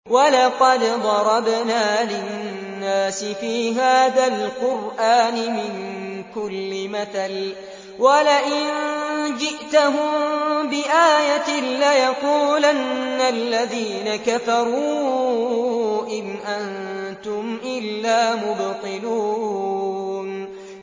وَلَقَدْ ضَرَبْنَا لِلنَّاسِ فِي هَٰذَا الْقُرْآنِ مِن كُلِّ مَثَلٍ ۚ وَلَئِن جِئْتَهُم بِآيَةٍ لَّيَقُولَنَّ الَّذِينَ كَفَرُوا إِنْ أَنتُمْ إِلَّا مُبْطِلُونَ